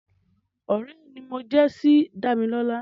Ọ̀rẹ́ ni mo jẹ́ sí Dámilọ́lá